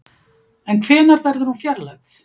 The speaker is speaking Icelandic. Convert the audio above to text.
En hvenær verður hún fjarlægð?